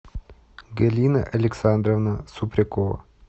галина александровна супрякова